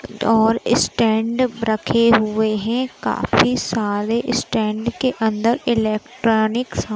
और ईस्टॅन्ड रखे हुए हैं। काफी सारे ईस्टॅन्ड के अंदर इलेक्ट्रॉनिक्स --